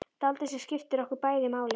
Dáldið sem skiptir okkur bæði máli.